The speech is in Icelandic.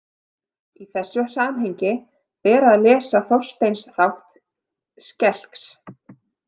Í þessu samhengi ber að lesa Þorsteins þátt skelks.